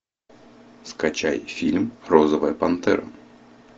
скачай фильм розовая пантера